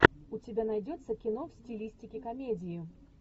у тебя найдется кино в стилистике комедии